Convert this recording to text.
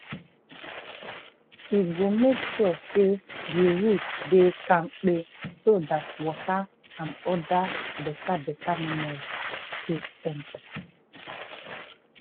e go make sure say the roots dey kampe so dat water and other beta-beta mineral fit enta.